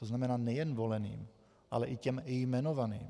To znamená nejen voleným, ale i těm jmenovaným.